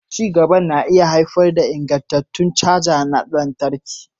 Ci gaban na iya haifar da haɓakar ingantattun caja na lantarki.